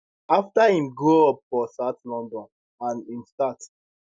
afta im grow up for south london and im start